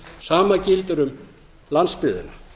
sama gildir um landsbyggðina